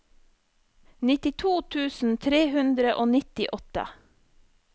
nittito tusen tre hundre og nittiåtte